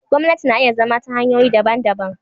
Gwamnati na iya zama ta hanyoyi daban-daban.